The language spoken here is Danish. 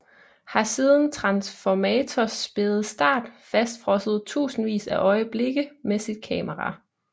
Har siden Transformators spæde start fastfrosset tusindvis af øjeblikke med sit kamera